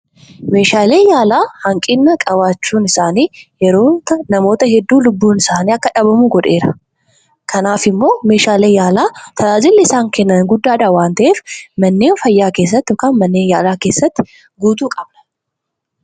Meeshaaleen yaalaa hanqina qabaachuun isaanii yeroo ta'a namoota hedduu lubbuun isaanii akka dhabamu godheera. Kanaaf immoo meeshaalee yaalaa tajaajilli isaan kennan guddaadha waan ta'eef manneen fayyaa keessatti yookaan manneen yaalaa keessatti guutuu qabna.